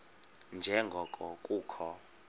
nje ngoko kukho